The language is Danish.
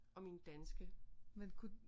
Og min danske